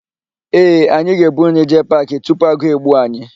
Ee, anyị ga-ebu nri jee paakị tupu agụụ egbuo anyị.